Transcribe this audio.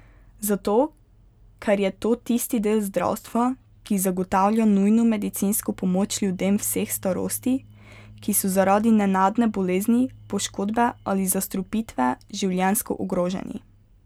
Zato ker je to tisti del zdravstva, ki zagotavlja nujno medicinsko pomoč ljudem vseh starosti, ki so zaradi nenadne bolezni, poškodbe ali zastrupitve življenjsko ogroženi.